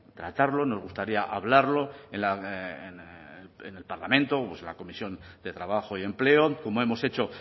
tratarlo nos gustaría hablarlo en el parlamento en la comisión de trabajo y empleo como hemos hecho